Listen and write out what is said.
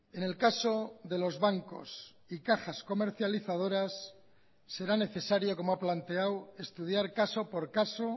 en el caso de los bancos y cajas comercializadoras será necesario como ha planteado estudiar caso por caso